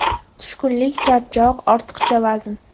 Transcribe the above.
Tushkunlik, charchoq, ortiqcha vazn.